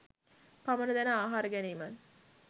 පමණ දැන ආහාර ගැනීමත්